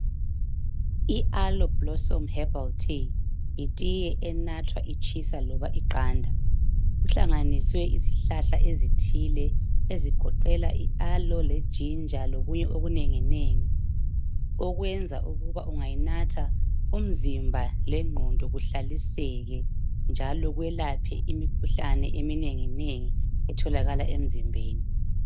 I Aloe Blossom Herbal Tea yitiye enathwa itshisa loba iqanda. Kuhlanganiswe izihlahla ezithile ezigoqela i aloe leginja lokunye okunenginengi okwenza ukuba ungayinatha umzimba lenqondo kuhlaliseke njalo kwelaphe imikhuhlane eminenginengi etholakala emzimbeni.